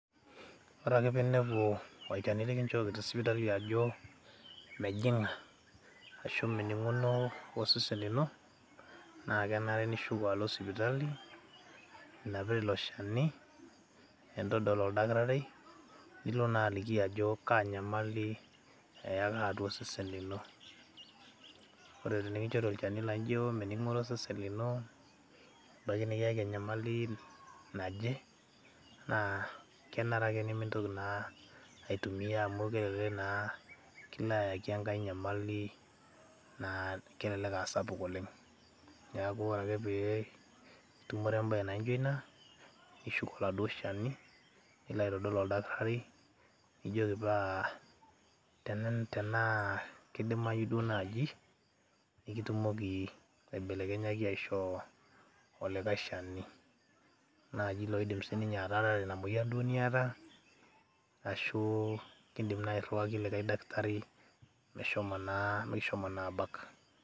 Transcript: ore ake pinepu olchani likinchooki tesipitali ajo mejing'a ashu mening'uno osesen lino naa kenare nishuko alo sipitali inapita ilo shani nintodol oldakitari nilo naa aliki ajo kaa nyamali eyaka atua osesen lino ore tenikinchori olchani laijo mening'ore osesen lino ebaiki nikiyaki enyamali naje naa kenare ake nemintoki naa aitumia amu kelelek naa kilo ayaki enkae nyamali naa kelelek asapuk oleng niaku ore ake pee itumore embaye naijo ina nishuk oladuo shani nilo aitodol oldakitari nijioki paa tenaa kidimayu duo naaji nikitumoki aibelekenyaki aishoo olikae shani naa loidim sininye atarare ina moyian duo niata ashu kindim naa airriwaki likae daktari meshomo naa, mikishomo naa abak.